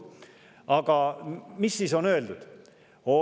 Aga mida siis on öeldud?